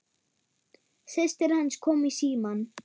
Systir hans kom í símann.